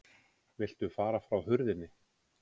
VILTU FARA FRÁ HURÐINNI